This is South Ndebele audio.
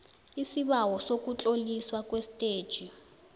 isibawo sokutloliswa kwestetjhi